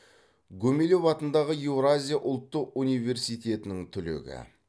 гумилев атындағы еуразия ұлттық университетінің түлегі